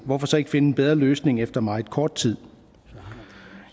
hvorfor så ikke finde en bedre løsning efter meget kort tid